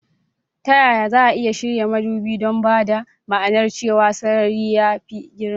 Ta yaya za a iya shirya madubi don ba da ma'anar cewa sarari ya fi girma?